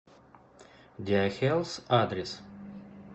диахелс адрес